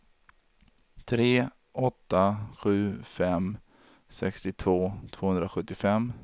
tre åtta sju fem sextiotvå tvåhundrasjuttiofem